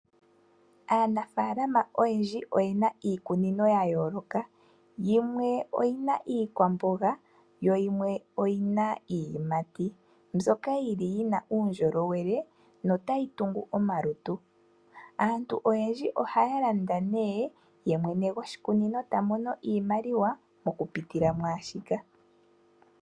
Aanafaalama oyendji oyena iikunino ya yooloka yimwe oyina iikwamboga yo yimwe oyina iiyimati mbyoka yili yina uundjolowele notayi tungu omalutu aantu oyendji ohaya landa nee nohaya ye mwene goshikunino ta mono iimaliwa mokupitila mwaashika.